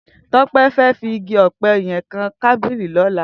Tope fè fi igi òpè yèn kàn tàbilí lòlá